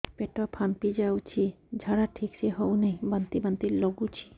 ପେଟ ଫାମ୍ପି ଯାଉଛି ଝାଡା ଠିକ ସେ ହଉନାହିଁ ବାନ୍ତି ବାନ୍ତି ଲଗୁଛି